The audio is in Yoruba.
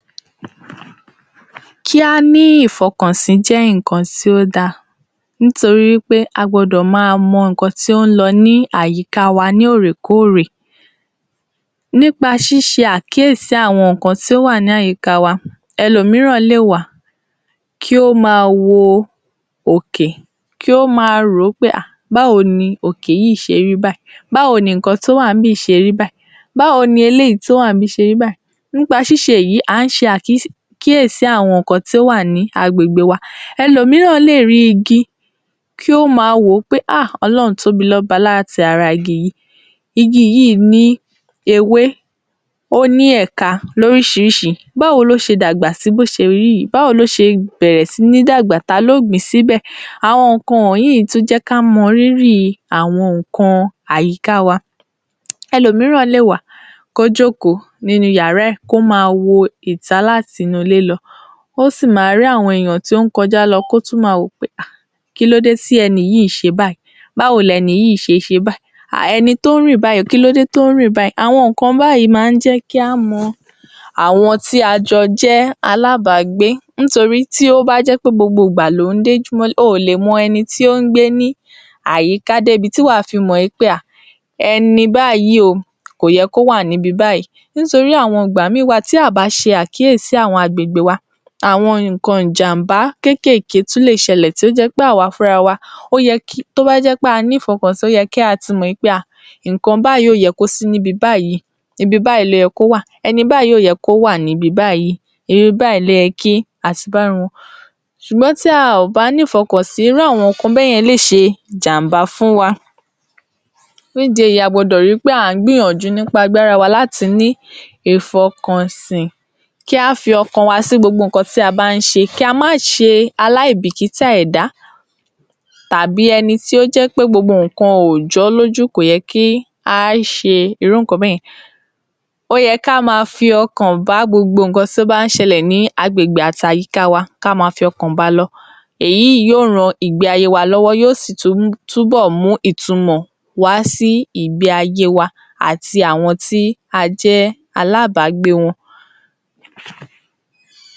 Kí á ní ìfọkànsí jẹ́ nǹkan tí ó da, nítorí wí pé a gbọ́dọ̀ máa mọ nǹkan tí ó ń lọ ní àyíká wa ní óòrèkóòrè. Nípa ṣíṣe àkíyèsí àwọn nǹkan tí ó wà ní àyíká wa, ẹlòmíràn lè wà, kí ó máa wo òkè, kí ó máa rò ó pé à, báwo ni òkè yìí ṣe rí báyìí, báwo ni nǹkan tó wà níbí yìí ṣe rí báyìí, báwo ni eléyìí tí ó wà níbí yìí ṣe rí báyìí, nípa ṣiṣe èyí à ń ṣe àkíyèsi àwọn nǹkan tí ó wà ní agbègbè wa. Ẹlòmíràn lè rí igi, kí ó máa wò ó pé à Ọlọ́run tóbi lára igi yìí. Igi yìí ní ewé, ó ní ẹ̀ka lóríṣiríṣi, báwo ni ó ṣe dàgbà sí bí ó ṣe rí yìí? báwo ni ó ṣe bẹ̀rẹ̀ sí ní dàgbà? ta ló gbìn-ín síbẹ̀? Àwọn nǹkan wọ̀nyí tún jẹ́ kí a mọ rírì àwọn nǹkan àyíka wa. Ẹlòmíràn lè wà kó jókòó nínú yàrá ẹ̀, kó máa wo ìta láti inú-ilé lọ, kí ó sì máa rí àwọn ènìyàn tí ó ń kọjá lọ kí ó tún máa wò wí pé kílódé tí ẹni yìí ṣe báyìí, báwo ni ẹni yìí ṣe ṣe báyìí, ẹni tí ó ń rìn báyìí, kílódé tí ó ń rìn báyìí? Àwọn nǹkan báyìí máa ń jẹ́ kí a mọ àwọn tí a jọ jẹ́ alábàágbé nítorí tí ó bá jẹ́ pé gbogbo ìgbà lò ń dójuụ mọ́lé, o ò le mọ ẹni tí ó ń gbé ní àyíká débi tí wà á fi mọ̀ pé à ẹni báyìí o, kò yẹ kí ó wà níbi báyìí nítorí àwọn ìgbà ìmíì wà tí a à bá ṣe àkíyèsi àwọn agbègbè wa, àwọn nǹkan ìjàm̀bá kéékèèké tún lè ṣẹlẹ̀ tí ó jẹ́ pé àwa fúnra wa tó bá jẹ́ pé a ní ìfọkànsí ó ye kí a ti mọ̀ pé nǹkan báyìí ò yẹ kó sí níbi báyìí, ibi báyìí ni ó yẹ kí ó wà, ẹni báyìí kò yẹ kí ó wà níbi báyìí ibi báyìí ni ó yẹ kí a ti bá irú wọn ṣùgbọ́n tí a ò bá ní ìfọkànsí irú àwọn nǹkan báyẹ lè ṣe ìjàm̀bá fún wa, Fún ìdí èyí a gbọ́dọ̀ ri pé à ń gbìyànjú nípa agbára wa láti ní ìfọkànsí, kí á fi ọkàn wa sí gbogbo nǹkan tí a bá ń ṣe kí a má ṣe aláìbìkítà ẹ̀dá tàbí ẹni tó jẹ́ wí pé gbogbo nǹkan kò jọ́ lójú ko yẹ kí a ṣe irú nǹkan báyẹn. Ó yẹ kí á máa fi ọkàn bá gbogbo nǹkan tí ó bá ń ṣẹlẹ̀ ní agbègbè àti àyíká wa, ká ma fi ọkàn ba lọ, èyí yóò ran ìgbé-ayé wa lọ́wọ́, yóò sì tún bọ̀ mú ìtumọ wá sí ìgbé-ayé wa àti àwọn tí a jẹ́ alábàágbé wọn.